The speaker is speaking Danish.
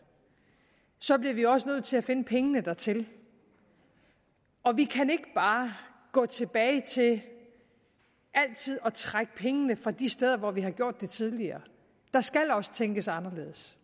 så bliver vi også nødt til at finde pengene dertil og vi kan ikke bare gå tilbage til altid at trække pengene fra de steder hvor vi har gjort det tidligere der skal også tænkes anderledes